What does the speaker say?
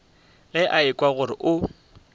ge a ekwa gore o